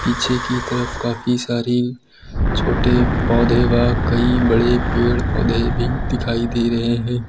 पीछे की तरफ काफी सारी छोटे पौधे व कई बड़े पेड़ पौधे भी दिखाई दे रहे हैं।